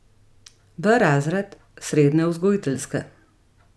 B razred srednje vzgojiteljske.